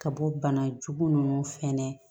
Ka bɔ bana jugu nunnu fɛnɛ